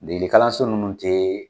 Degelikalanso ninnu te